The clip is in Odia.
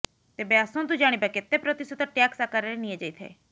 ତେବେ ଆସନ୍ତୁ ଜାଣିବା କେତେ ପ୍ରତିଶତ ଟ୍ୟାକ୍ସ ଆକାରରେ ନିଆଯାଇଥାଏ